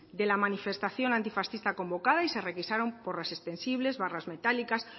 de la manifestación antifascista convocada y se requisaron porras extensibles barras metálicas